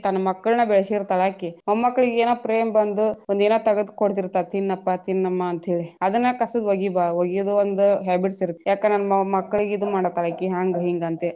ತನ್ನ ಮಕ್ಕಳ್ನ ಬೆಳಸಿರ್ತಾಳ ಆಕಿ ಮೊಮ್ಮಕ್ಕಳಿಗೆ ಏನಾರ ಪ್ರೇಮ ಬಂದು ಒಂದೆನಾ ತಗದ ಕೊಡ್ತಿರ್ತಾರ ತಿನ್ನಪ್ಪಾ ತಿನ್ನಮ್ಮ ಅಂತೇಳಿ ಅದನ್ನ ಒಂದ habits ಇರತ್ತ ಯಾಕ ನನ್ನ ಮಕ್ಕಳಿಗ ಇದ ಮಾಡತಾಳ ಇಕಿ ಹಾಂಗ ಹಿಂಗಂತೆ.